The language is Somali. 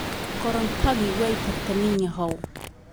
Korontadii way tagtay ninyahow